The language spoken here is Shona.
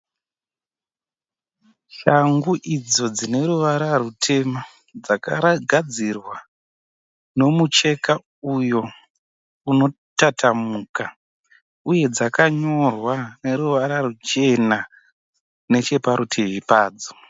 Shangu idzo dzine ruvara rutema. Dzakagadzirwa nomucheka uyo unotatamuka uye dzakanyorwa neruvara ruchena necheparutivi padzo.